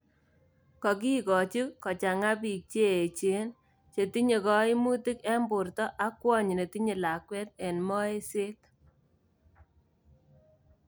Kokiikochi kochaang�a biik cheecheen, chetinye kaymut eng borto ak kwony netinye lakweet en moeSet